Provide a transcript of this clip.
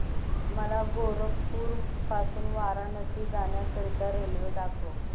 मला गोरखपुर पासून वाराणसी जाण्या करीता रेल्वे दाखवा